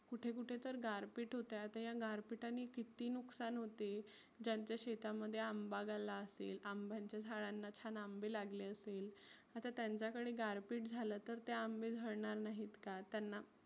कुठे कुठे तर गारपिट होत आहे. आता या गार पिटानी किती नुकसान होते. ज्यांच्या शेतामध्ये अंबा झाला असतील. अंब्यांच्या झाडांना छान अंबे लागले असतील. आता त्याच्याकडे गारपिट झालं तर ते अंबे झडनार नाहीत का? त्यांना